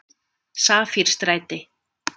Safírstræti